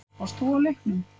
Varst þú á leiknum?